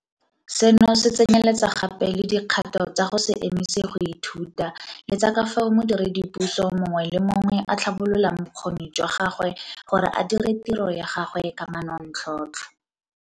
Seno se tsenyeletsa gape le dikgato tsa go se emise go ithuta le tsa ka fao modiredipuso mongwe le mongwe a tlhabololang bokgoni jwa gagwe gore a dire tiro ya gagwe ka manontlhotlho.